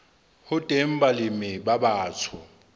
ho teng balemi ba batsho